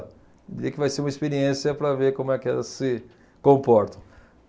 que vai ser uma experiência para ver como é que elas se comportam.